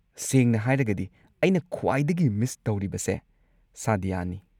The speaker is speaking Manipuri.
ꯁꯦꯡꯅ ꯍꯥꯏꯔꯒꯗꯤ, ꯑꯩꯅ ꯈ꯭ꯋꯥꯏꯗꯒꯤ ꯃꯤꯁ ꯇꯧꯔꯤꯕꯁꯦ ꯁꯥꯗ꯭ꯌꯅꯤ꯫